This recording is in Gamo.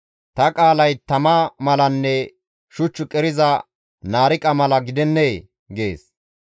«Ta qaalay tama malanne shuch qeriza naariqa mala gidennee?» gees.